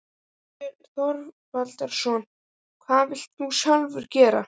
Þorbjörn Þórðarson: Hvað vilt þú sjálfur gera?